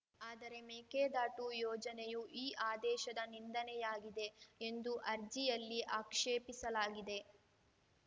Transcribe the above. ಆದರೆ ಮೇಕೆದಾಟು ಯೋಜನೆಯು ಈ ಆದೇಶದ ನಿಂದನೆಯಾಗಿದೆ ಎಂದು ಅರ್ಜಿಯಲ್ಲಿ ಆಕ್ಷೇಪಿಸಲಾಗಿದೆ